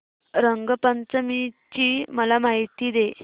रंग पंचमी ची मला माहिती दे